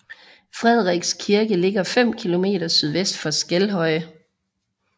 Frederiks Kirke ligger 5 km sydvest for Skelhøje